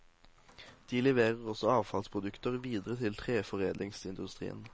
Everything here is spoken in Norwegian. De leverer også avfallsprodukter videre til treforedlingsindustrien.